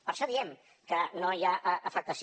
per això diem que no hi ha afectació